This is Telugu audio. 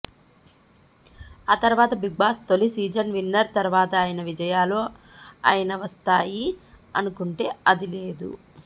ఆ తర్వాత బిగ్ బాస్ తొలి సీజన్ విన్నర్ తర్వాత అయిన విజయాలు అయిన వస్తాయి అనుకుంటే అది లేదు